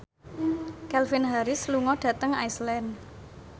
Calvin Harris lunga dhateng Iceland